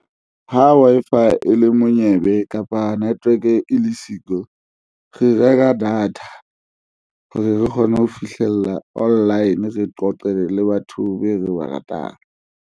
Ha Wi-Fi e le monyebe kapa network e le siko, re reka data hore re kgone ho fihlella online re qoqele le batho be re ba ratang.